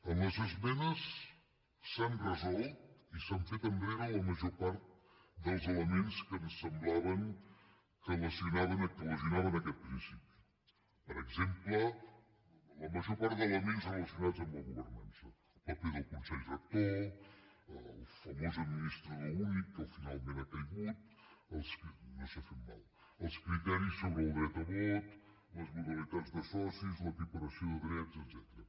en les esmenes s’han resolt i s’han fet enrere la major part dels elements que ens semblaven que lesionaven aquest principi per exemple la major part d’elements relacionats amb la governança paper del consell rector el famós administrador únic que finalment ha caigut no s’ha fet mal els criteris sobre el dret a vot les modalitats de socis l’equiparació de drets etcètera